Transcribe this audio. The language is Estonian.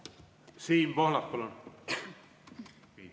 Siim Pohlak, palun!